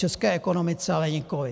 České ekonomice ale nikoliv.